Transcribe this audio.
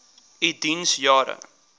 u diens jare